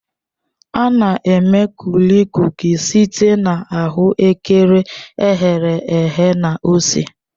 A na-eme Kulikuki site na ahuekere e ghere eghe na ose